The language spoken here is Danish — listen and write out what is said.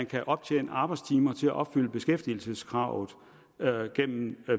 kan optjenes arbejdstimer til at opfylde beskæftigelseskravet gennem